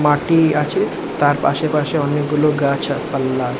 মাটি আছে। তার পাশে পাশে অনেকগুলো গাছ পাল্লা।